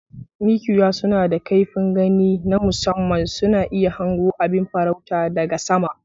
Mikiya suna da kaifin gani na musamman, suna iya hango abin farauta daga sama.